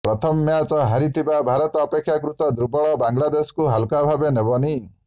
ପ୍ରଥମ ମ୍ୟାଚ୍ ହାରିଥିବା ଭାରତ ଅପେକ୍ଷାକୃତ ଦୁର୍ବଳ ବାଂଲାଦେଶକୁ ହାଲୁକା ଭାବେ ନେବନି